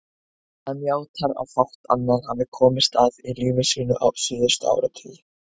Hann játar að fátt annað hafi komist að í lífi sínu síðustu áratugi.